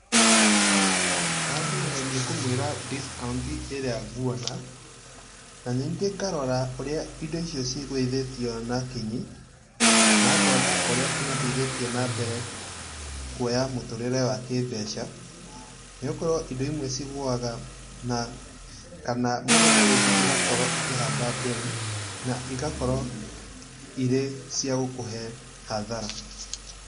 Wambere nĩ kũmwĩra cs] discount ĩrĩa nguona, na ningĩ ngarora ũrĩa indo icio cigũithĩtio na kinyi, na ngona ũrĩa imateithĩtie na mbere, kuoya mũtũrĩre wa kĩ-mbeca, nĩgũkorũo indo imwe cigũaga na kana mũthenya ũyũ ũngĩ igakorũo ikĩhamba mbei, na igakorũo irĩ ciagũkũhe hathara.